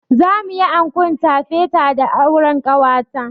Za mu yi ankon tafeta da auren ƙanwata.